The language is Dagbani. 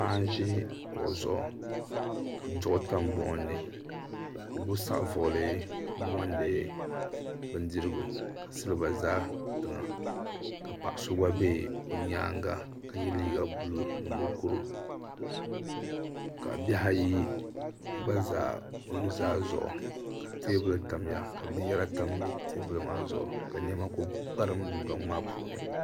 paɣa n ʒi kuɣu zuɣu ka duɣu tam buɣum ni ka ɔ gbubi saɣivuɣuli n niŋdi bindirigu. kasiliba ʒa tiŋa. ka paɣiso gba be ɔ nyaaŋa ka ye liiga blue ni mukuru, kabihi ayi za ɔ nuzaa zuɣu, ka teebuli tamya ka binyara tam tam teebuli maa zuɣu ka binyara kuli kparim dun dɔŋ maa puuni.